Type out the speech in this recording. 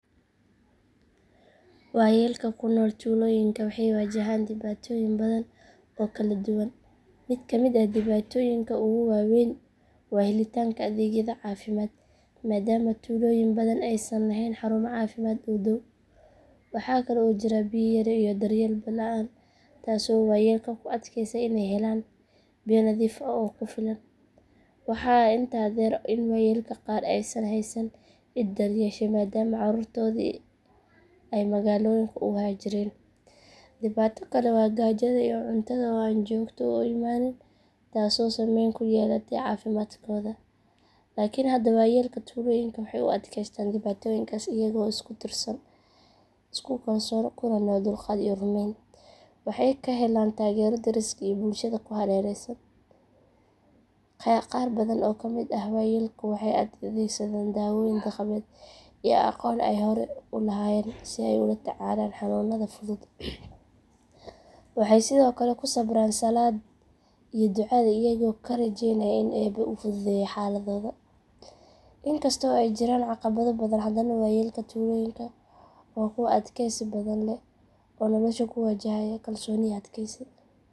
Waayeelka ku nool tuulooyinka waxay wajahaan dhibaatooyin badan oo kala duwan. Mid ka mid ah dhibaatooyinka ugu waa weyn waa helitaanka adeegyada caafimaad maadaama tuulooyin badan aysan lahayn xarumo caafimaad oo dhow. Waxa kale oo jira biyo yari iyo daryeel la’aan taasoo waayeelka ku adkeysa inay helaan biyo nadiif ah oo ku filan. Waxaa intaa dheer in waayeelka qaar aysan haysan cid daryeesha maadaama caruurtoodii ay magaalooyinka u haajireen. Dhibaato kale waa gaajada iyo cuntada oo aan joogto u imaanin taasoo saameyn ku yeelata caafimaadkooda. Laakiin haddana waayeelka tuulooyinka waxay u adkeystaan dhibaatooyinkaas iyaga oo isku tiirsan, isku kalsoon, kuna nool dulqaad iyo rumayn. Waxay ka helaan taageero deriska iyo bulshada ku hareeraysan. Qaar badan oo ka mid ah waayeelka waxay adeegsadaan daawooyin dhaqameed iyo aqoon ay hore u lahaayeen si ay ula tacaalaan xanuunada fudud. Waxay sidoo kale ku sabraan salaad iyo ducada iyaga oo ka rajeynaya inuu Eebbe u fududeeyo xaaladooda. In kasta oo ay jiraan caqabado badan haddana waayeelka tuulooyinka waa kuwo adkaysi badan leh oo nolosha ku wajahaya kalsooni iyo adkeysi.